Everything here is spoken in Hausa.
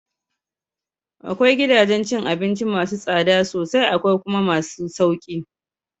Akwai gidajen cin abinci masu tsada sosai akwai kuma masu sauki